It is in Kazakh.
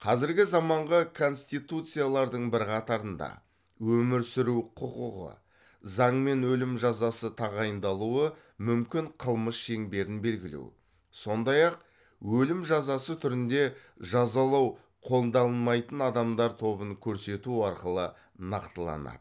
қазіргі заманғы конституциялардың бірқатарында өмір сүру құқығы заңмен өлім жазасы тағайындалуы мүмкін қылмыс шеңберін белгілеу сондай ақ өлім жазасы түрінде жазалау қолданылмайтын адамдар тобын көрсету арқылы нақтыланады